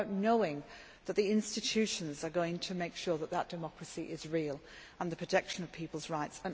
It is about knowing that the institutions are going to make sure that democracy is real and about the protection of people's rights.